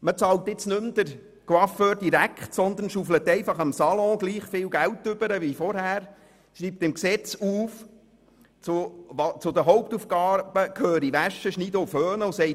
Man bezahlt nun den Coiffeur nicht mehr direkt, sondern bezahlt dieses Geld stattdessen dem Salon und schreibt im Gesetz, dass zu den Hauptaufgaben des Salons das Waschen, Schneiden und Föhnen gehöre.